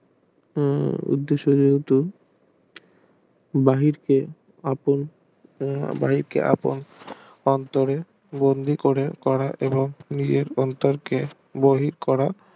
উম এটা সাধারণত বাহিরকে আপন বাহিরকে আপন অন্তরে বন্দি করে করা এবং এর অন্তরকে বহির করা